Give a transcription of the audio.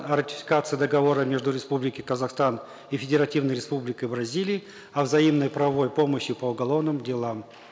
о ратификации договора между республикой казахстан и федеративной республикой бразилией о взаимной правовой помощи по уголовным делам